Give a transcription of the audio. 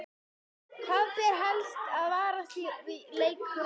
Hvað ber helst að varast í leik Króata?